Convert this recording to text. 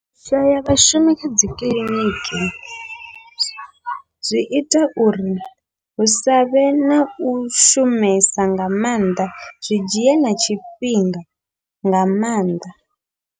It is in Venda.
U shaya vhashumi kha dzikiḽiniki, zwi ita uri hu savhe nau shumesa nga maanḓa zwi dzhie na tshifhinga nga maanḓa.